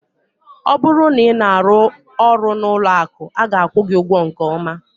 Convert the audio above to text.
Ọ bụrụ na ị na-arụ ọrụ n'ụlọ akụ, a ga-akwụ gị ụgwọ nke ọma.